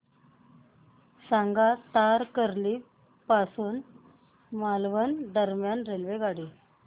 सांगा तारकर्ली पासून मालवण दरम्यान रेल्वेगाडी